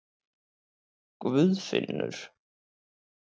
Guðfinnur